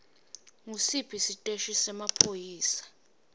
ngusiphi siteshi semaphoyisa